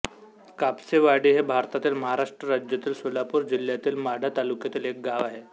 कापसेवाडी हे भारतातील महाराष्ट्र राज्यातील सोलापूर जिल्ह्यातील माढा तालुक्यातील एक गाव आहे